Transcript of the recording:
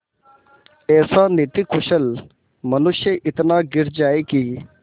ऐसा नीतिकुशल मनुष्य इतना गिर जाए कि